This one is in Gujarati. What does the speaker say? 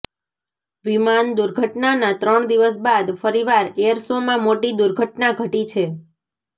વિમાન દુર્ઘટનાના ત્રણ દિવસ બાદ ફરીવાર એર શોમાં મોટી દુર્ઘટના ઘટી છે